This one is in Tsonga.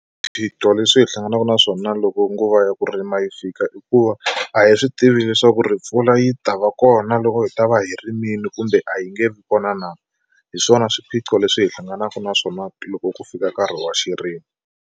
Swiphiqo leswi hi hlanganaka na swona loko nguva ya ku rima yi fika i ku va a hi swi tivi leswaku ri mpfula yi ta va kona loko hi ta va hi rimile kumbe a yi nge vi kona na hi swona swiphiqo leswi hi hlanganaka na swona loko ku fika nkarhi wa xirimi.